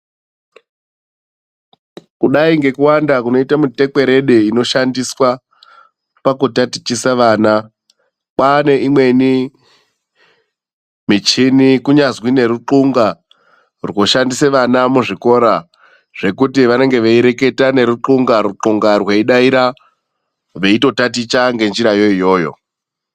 Kudai ngekuwanda kunoita mutekwerede inoshandiswa , pakutatichisa vana, pane imweni michini kunyazi neruqunga roshandisa vana muzvikora zvekuti zvanenge veireketa neruqunga ruqunga rweidaira veitotaticha ngenjira iyoyo.